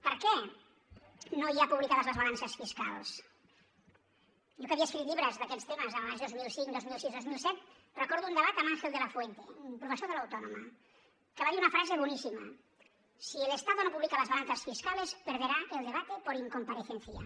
per què no hi ha publicades les balances fiscals jo que havia escrit llibres d’aquests temes en els anys dos mil cinc dos mil sis i dos mil set recordo un debat amb ángel de la fuente un professor de l’autònoma que va dir una frase boníssima si el estado no publica las balanzas fiscales perderá el debate por incomparecencia